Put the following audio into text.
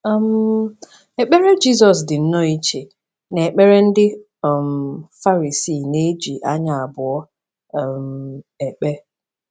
um Ekpere Jizọs dị nnọọ iche na ekpere ndị um Farisii na-eji anya abụọ um ekpe